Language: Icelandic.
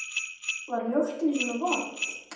Var mjólkin svona vond?